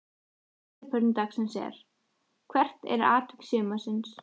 Síðari spurning dagsins er: Hvert er atvik sumarsins?